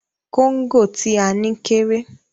Kóńgò tí a ní kéré.